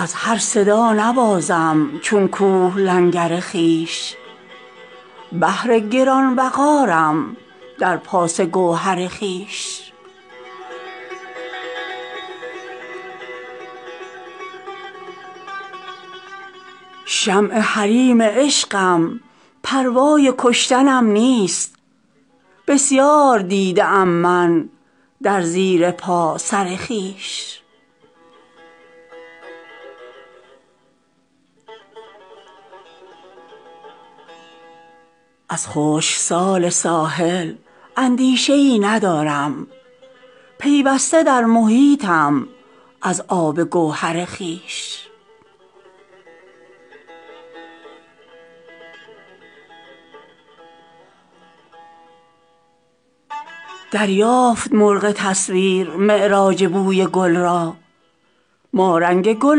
از هر صدا نبازم چون کوه لنگر خویش بحر گران وقارم در پاس گوهر خویش شمع حریم عشقم پروای کشتنم نیست بسیار دیده ام من در زیر پا سرخویش از خشکسال ساحل اندیشه ای ندارم پیوسته در محیطم از آب گوهر خویش دریافت مرغ تصویر معراج بوی گل را ما رنگ گل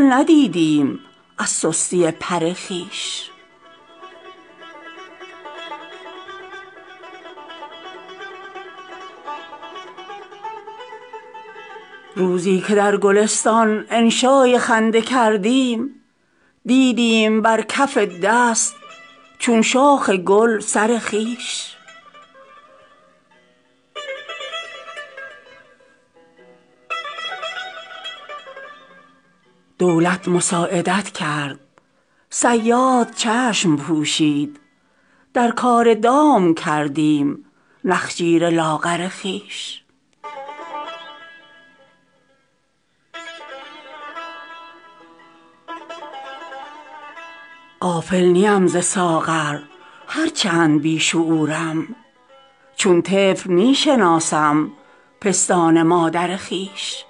ندیدیم از سستی پر خویش شهد وصال شکر می خواست دور باشی از زهر سبز کردیم چون طوطیان پر خویش تا در میان آتش در باغ خلد باشی از آبروی خود کن زنهار گوهر خویش زان گوهر گرامی هرگزخبر نیابی تا بادبان نسازی در بحر لنگر خویش روزی که در گلستان انشای خنده کردیم دیدیم بر کف دست چون شاخ گل سر خویش دولت مساعدت کرد صیاد چشم پوشید در کار دام کردم نخجیر لاغر خویش غافل نیم ز ساغر هرچند بی شعورم چون طفل می شناسم پستان مادر خویش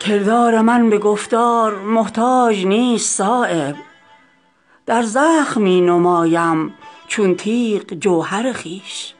کردار من به گفتار محتاج نیست صایب در زخم می نمایم چون تیغ جوهر خویش